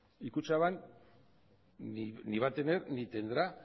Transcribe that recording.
y kutxabank ni va a tener ni tendrá